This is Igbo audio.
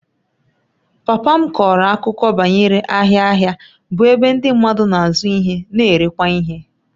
Papa m kọrọ akụkọ banyere ahịa ahịa, bụ́ ebe ndị mmadụ na-azụ ihe na-erekwa ihe.